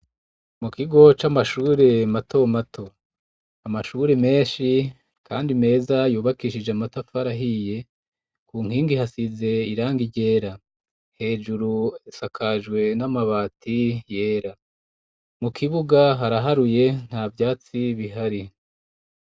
Mu kigo c'amashure mato mato; amashuri menshi kandi meza yubakishije amatafari ahiye. Ku nkingi hasize irangi ryera, hejuru hasakajwe n'amabati yera; mu kibuga haraharuye nta vyatsi bihari.